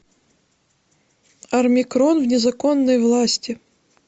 армикрон в незаконной власти